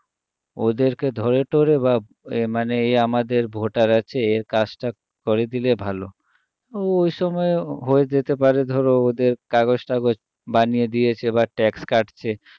ওদেরকে ধরে টরে বা এ মানে আমাদের voter আছে এর কাজটা করে দিলে ভালো ওইসময়ে হয়ে যেতে পারে ধরো ওদের কগজ টাগজ বানিয়ে দিয়েছে বা tax কাটছে